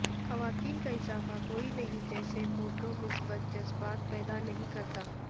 خواتین کا اضافہ کوئی نہیں جیسے فوٹو مثبت جذبات پیدا نہیں کرتا